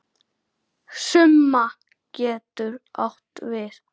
Summa getur átt við